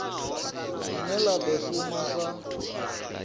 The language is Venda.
line la do shuma sa